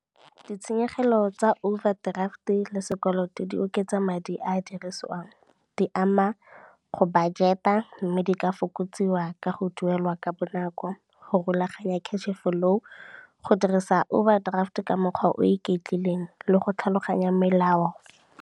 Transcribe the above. Ditshenyegelo tsa overdraft le sekoloto di oketsa madi a a dirisiwang, di ama go budget-a mme di ka fokotsiwa ka go duelwa ka bonako, go rulaganya cash-e flow, go dirisa overdraft ka mokgwa o iketlileng le go tlhaloganya melao.